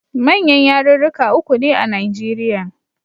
Manyan yarurruka uku ne a Nigerian.